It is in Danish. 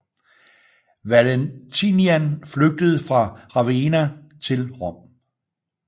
Valentinian flygtede fra Ravenna til Rom